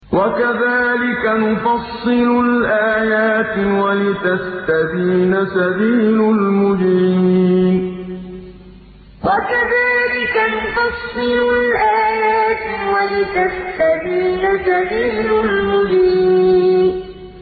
وَكَذَٰلِكَ نُفَصِّلُ الْآيَاتِ وَلِتَسْتَبِينَ سَبِيلُ الْمُجْرِمِينَ وَكَذَٰلِكَ نُفَصِّلُ الْآيَاتِ وَلِتَسْتَبِينَ سَبِيلُ الْمُجْرِمِينَ